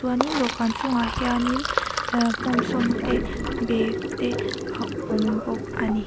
chuanin dawhkân chungah hianin ah hmawmsawm te bag te a awm bawk a ni.